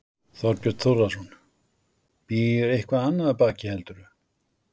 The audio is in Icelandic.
Þorbjörn Þórðarson: Býr eitthvað annað baki heldur þú?